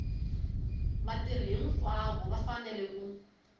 vatirhi hinkwavo va fanele ku